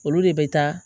Olu de bɛ taa